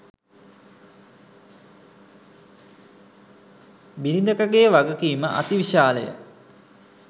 බිරිඳකගේ වගකීම අතිවිශාලය.